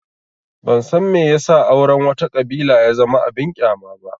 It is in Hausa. Ban san me ya sa auren wata ƙabila ya zama abin ƙyama ba